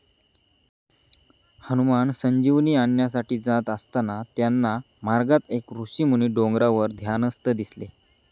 हनुमान संजीवनी आणण्यासाठी जात असताना त्यांना मार्गात एक ऋषीमुनी डोंगरावर ध्यानस्थ दिसले.